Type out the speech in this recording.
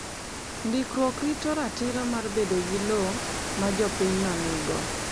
Ndikruok rito ratiro mar bedo gi lowo ma jopinyno nigo.